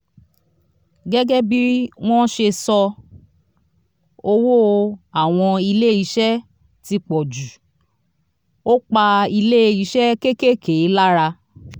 gẹgẹ bí wọn ṣe sọ owó àwọn ilé iṣẹ ti pòjù ó pa ilé iṣẹ́ kékèèké lára.